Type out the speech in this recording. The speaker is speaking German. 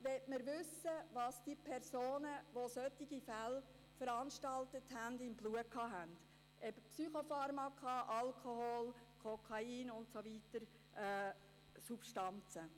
Man möchte wissen, was Personen, die solche Fälle verursacht haben, im Blut hatten: Psychopharmaka, Alkohol, Kokain und weitere Substanzen.